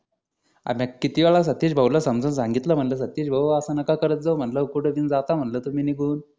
अबे किती वेळा सतीश भाऊ ला समजून सांगितलं म्हणलं सतीश भाऊ असं नका करत जाऊ म्हणलं कुठेतरी जाता म्हटलं तुम्ही निघून